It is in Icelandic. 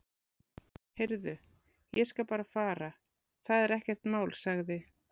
Heyrðu, ég skal bara fara, það er ekkert mál sagði